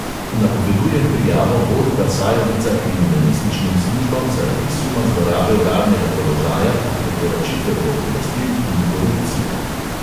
Napovedujem prijavo boruta sajovica kriminalističnim službam zaradi suma zlorabe uradnega položaja, prekoračitve pooblastil in korupcije.